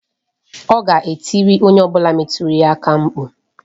Ọ ga-etiri onye ọ bụla metụrụ ya aka mkpụ.